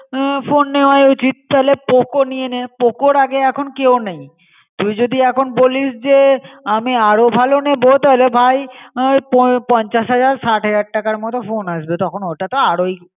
Phone নেওয়ায় উচিত. তালে poco নিয়ে নে. poco আগে এখন কেও নাই. তুই যদি এখন বলিস যে আমি আরও ভালো নেব তাহলে ভাই নাহয় পঞ্চাশ হাজার ষাট হাজার টাকার মতো ফোন আসবে. তখন অটা তো আরই